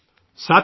شکریہ سر